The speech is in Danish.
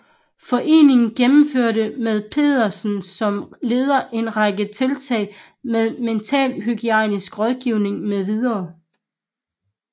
Foreningen gennemførte med Petersen som leder en række tiltag med mentalhygiejnisk rådgivning med videre